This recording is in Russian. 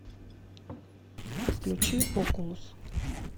включи окулус